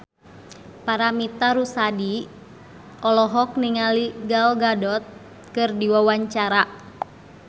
Paramitha Rusady olohok ningali Gal Gadot keur diwawancara